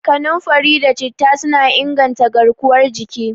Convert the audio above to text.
Kanunfari da Citta suna inganta garkuwar jiki.